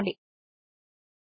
సరే చూసినందుకు కృతజ్ఞతలు